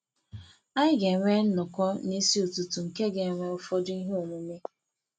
Anyị ga-enwe nnọkọ n’isi ụtụtụ nke ga-enwe ụfọdụ ihe omume.